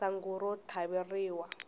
sangu ro tlhaveriwa